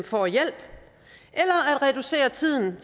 får hjælp eller at reducere tiden